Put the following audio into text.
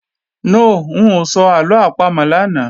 No, ń ò sọ àlọ àpamọ̀ lánàá